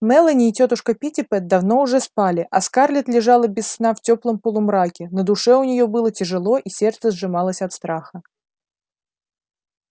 мелани и тётушка питтипэт давно уже спали а скарлетт лежала без сна в теплом полумраке на душе у нее было тяжело и сердце сжималось от страха